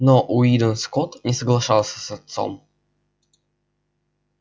но уидон скотт не соглашался с отцом